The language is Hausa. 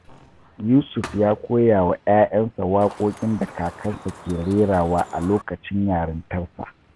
Yusuf ya koya wa ’ya’yansa waƙoƙin da kakansa ke rerawa a lokacin yarintarsa.